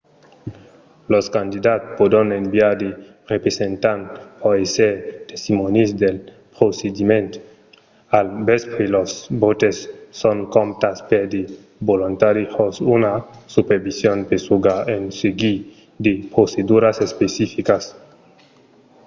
los candidats pòdon enviar de representants per èsser testimònis del procediment. al vèspre los vòtes son comptats per de volontari jos una supervision pesuga en seguir de proceduras especificas